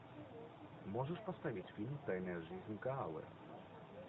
можешь поставить фильм тайная жизнь коалы